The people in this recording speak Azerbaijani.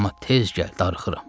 Amma tez gəl, darıxıram.